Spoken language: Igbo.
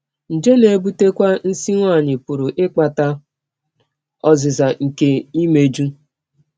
Nje na - ebụtekwa nsí nwanyị pụrụ ịkpata ọzịza nke imejụ.